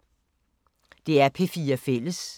DR P4 Fælles